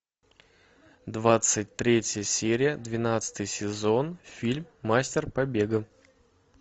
двадцать третья серия двенадцатый сезон фильм мастер побега